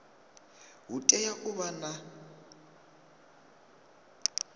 hu tea u vha na